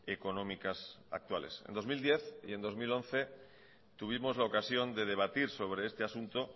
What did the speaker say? económicas actuales en dos mil diez y en dos mil once tuvimos la ocasión de debatir sobre este asunto